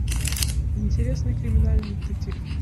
интересный криминальный детектив